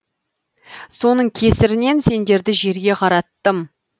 соның кесірінен сендерді жерге қараттым